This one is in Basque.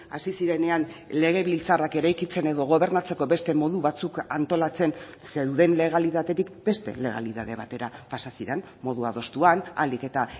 hasi zirenean legebiltzarrak eraikitzen edo gobernatzeko beste modu batzuk antolatzen zeuden legalitatetik beste legalitate batera pasa ziren modu adostuan ahalik eta